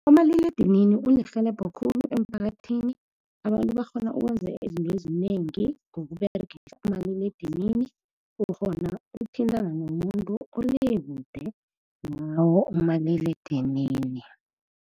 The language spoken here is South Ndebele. Umaliledinini ulirhelebho khulu emphakathini, abantu bakghona ukwenza izinto ezinengi ngokuberegisa umaliledinini. Ukghona ukuthintana nomuntu ole kude ngawo umaliledinini.